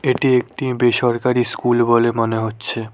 এটি একটি বেসরকারি স্কুল বলে মনে হচ্ছে।